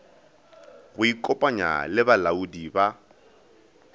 go ikopanya le balaodi ba